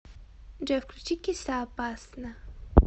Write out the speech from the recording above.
джой включи киса опасно